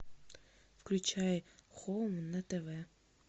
включай хоум на тв